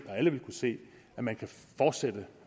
at alle vil kunne se at man kan fortsætte